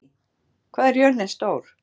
Ali, hvað er jörðin stór?